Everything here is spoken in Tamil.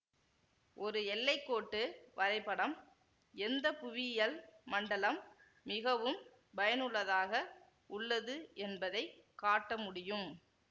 ஒரு எல்லைக்கோட்டு வரைபடம் எந்த புவியியல் மண்டலம் மிகவும் பயனுள்ளதாக உள்ளது என்பதை காட்ட முடியும்